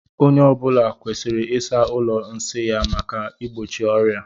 Onye ọ bụla kwesịrị ịsa ụlọ nsi ya maka igbochi ọria.